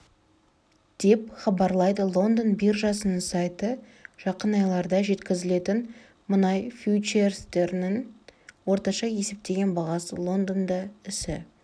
деп хабарлайды лондон биржасының сайты жақын айларда жеткізілетін мұнай фьючерстерінің орташа есептеген бағасы лондонда ісі